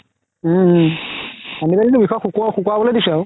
উম উম antibiotic তো বিষৰ শুকাবলৈ দিছে আৰু